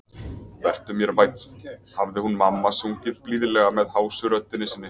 Vertu mér vænn, hafði hún mamma sungið blíðlega með hásu röddinni sinni.